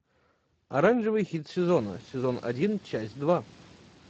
оранжевый хит сезона сезон один часть два